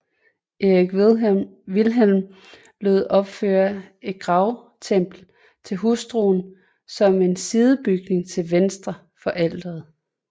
Erik Wilhelm lod opføre et gravkapel til hustruen som en sidebygning til venstre for alteret